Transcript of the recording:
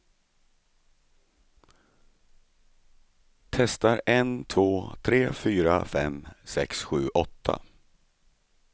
Testar en två tre fyra fem sex sju åtta.